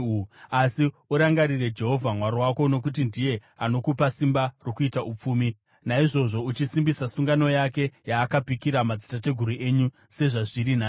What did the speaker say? Asi urangarire Jehovha Mwari wako, nokuti ndiye anokupa simba rokuita upfumi, naizvozvo achisimbisa sungano yake, yaakapikira madzitateguru enyu, sezvazviri nhasi.